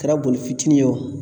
Kɛra boli fitiini ye o